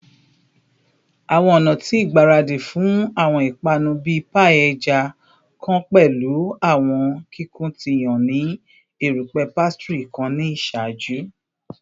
Awọn ọna ti igbaradi fun awọn ipanu bii paii ẹja kan pẹlu awọn kikun ti yan ni erupẹ pastry kan ni iṣaaju